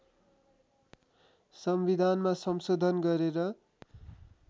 संविधानमा संशोधन गरेर